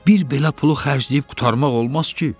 Bir belə pulu xərcləyib qurtarmaq olmaz ki?